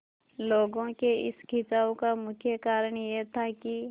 लोगों के इस खिंचाव का मुख्य कारण यह था कि